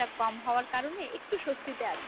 যা কম হওয়ার কারণে একটু স্বস্তিতে আছি